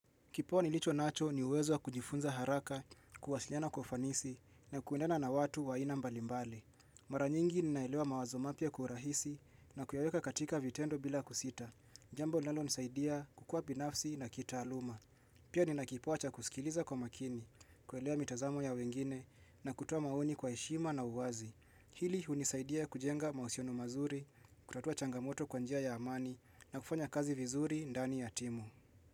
Kipo nilicho nacho ni uwezo wa kujifunza haraka, kuwasiliana kufanisi na kuendana na watu waina mbalimbali. Maranyingi ninaelewa mawazomapia kwa urahisi na kuyaweka katika vitendo bila kusita. Jambo linalo nisaidia kukua pinafsi na kita aluma. Pia nina kipo achakusikiliza kwa makini, kuelewa mitazamo ya wengine na kutowa maoni kwa ishima na uwazi. Hili unisaidia kujenga mausionu mazuri, kutatua changamoto kwanjia ya amani na kufanya kazi vizuri ndani ya timu.